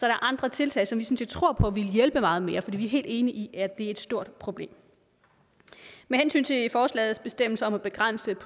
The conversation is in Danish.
er andre tiltag som vi tror på ville hjælpe meget mere fordi vi er helt enige i er et stort problem forslagets bestemmelser om at begrænse